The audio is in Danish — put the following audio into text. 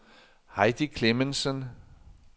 Heidi Clemmensen